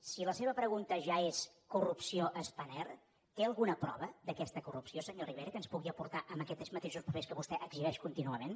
si la seva pregunta ja és corrupció a spanair té alguna prova d’aquesta corrupció senyor rivera que ens pugui aportar amb aquests mateixos papers que vostè exhibeix contínuament